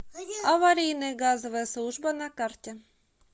аварийная газовая служба на карте